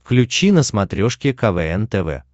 включи на смотрешке квн тв